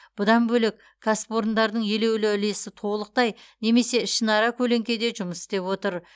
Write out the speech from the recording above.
бұдан бөлек кәсіпорындардың елеулі үлесі толықтай немесе ішінара көлеңкеде жұмыс істеп отыр